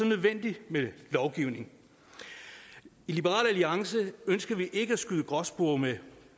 nødvendigt med lovgivning i liberal alliance ønsker vi ikke at skyde gråspurve med